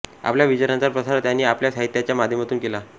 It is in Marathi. आपल्या विचारांचा प्रसार त्यांनी आपल्या साहित्याच्या माध्यमातून केला